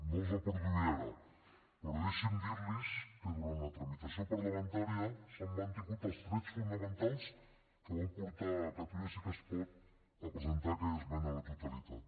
no les reproduiré ara però deixin me dir los que durant la tramitació parlamentària s’han mantingut els trets fonamentals que van portar catalunya sí que es pot a presentar aquella esmena a la totalitat